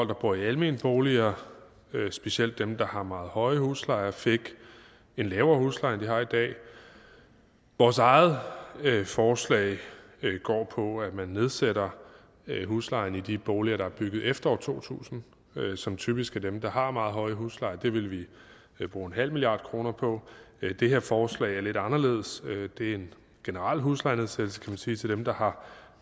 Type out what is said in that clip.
der bor i almenboliger specielt dem der har meget høje huslejer fik en lavere husleje end de har i dag vores eget forslag går på at man nedsætter huslejen i de boliger der er bygget efter år to tusind som typisk er dem der har meget høje huslejer det vil vi bruge nul milliard kroner på det her forslag er lidt anderledes det er en generel huslejenedsættelse kan man sige til dem der har